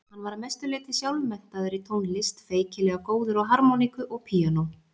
Hann var að mestu leyti sjálfmenntaður í tónlist, feikilega góður á harmóníku og píanó.